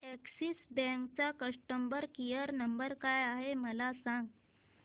Axis bank चा customer care number काय आहे मला सांगा